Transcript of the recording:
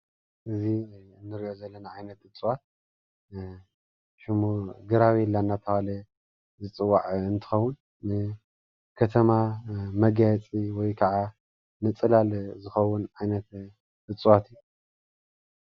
እዚ እንሪኦ ዘለና ዓይነት እፅዋት ሽሙ ግራቤላ እንዳተብሃለ ዝፅዋዕ እንትኸዉን ን ከተማ መጋየፂ ወይ ክዓ ንፅላል ዝኸዉን ዓይነት እፅዋት እዩ።